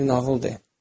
Bir nağıl de.